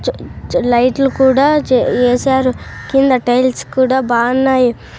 చ చ లైట్లు కూడా చే యేసారు కింద టైల్స్ కూడా బాన్నాయి.